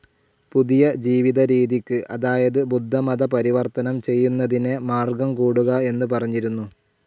പുതിയ ജീവിതരീതിക്ക് അതായത് ബുദ്ധമത പരിവർത്തനം ചെയ്യുന്നതിനെ മാർഗ്ഗം കൂടുക എന്ന് പറഞ്ഞിരുന്നു.